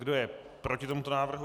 Kdo je proti tomuto návrhu?